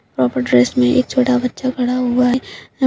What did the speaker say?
वहां पर ड्रेस में एक छोटा बच्चा खड़ा हुआ है जो --